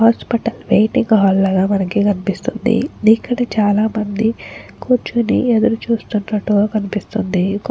Hospital waiting హాల్లో కాదు మనకు కనిపిస్తుంది ఇక్కడ చాలామంది కూర్చొని ఎదురు చూస్తున్నట్టుగా కనిపిస్తున్నారు.